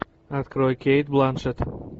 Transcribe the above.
открой кейт бланшетт